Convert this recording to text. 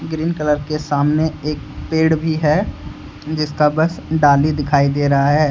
Green colour के सामने एक पेड़ भी है जिसका बस डाली दिखाई दे रहा है।